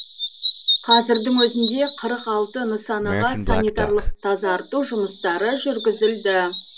қазірдің өзінде қырық алты нысанаға санитарлық тазарту жұмыстары жүргізілді